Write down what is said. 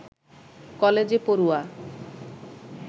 কলেজে পড়ুয়া